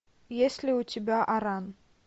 есть ли у тебя аран